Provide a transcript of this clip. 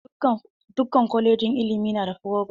Dukkan kolejin ilimi na da frovos.